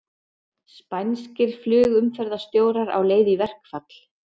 Spænskir flugumferðarstjórar á leið í verkfall